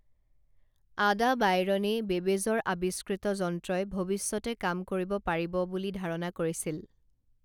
আডা বাইৰনেই বেবেজৰ আৱিষ্কৃত যন্ত্ৰই ভৱিষ্যতে কাম কৰিব পাৰিব বুলি ধাৰণা কৰিছিল